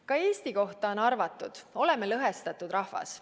" Ka Eesti kohta on arvatud, et oleme lõhestatud rahvas.